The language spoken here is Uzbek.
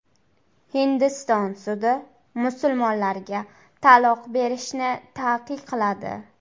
Hindiston sudi musulmonlarga taloq berishni taqiqladi.